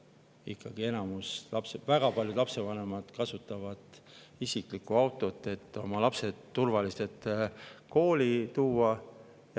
Ikkagi enamus, väga paljud lapsevanemad kasutavad isiklikku autot, et lapsed turvaliselt kooli viia.